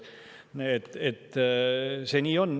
Nii see on.